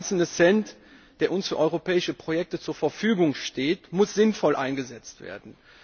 Jeder einzelne Cent, der uns für europäische Projekte zur Verfügung steht, muss sinnvoll eingesetzt werden.